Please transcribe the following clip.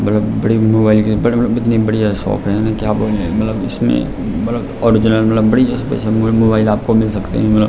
बड़ी मोबाइल के बड़े बड़े इतनी बढ़िया शॉप हैं। क्या बोलने मलब इसमें मलब ओरिजनल मलब बढ़िया सा मोबाइल आपको मिल सकतें हैं मलब ।